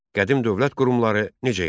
Qədim dövlət qurumları necə yarandı?